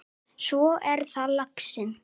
Frímann með sér.